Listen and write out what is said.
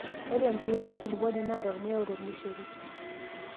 ore empiron enkulupuoni naa tee ormuya ooo tormushel